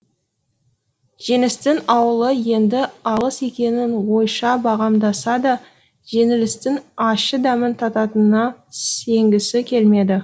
жеңістің ауылы енді алыс екенін ойша бағамдаса да жеңілістің ащы дәмін тататынына сенгісі келмеді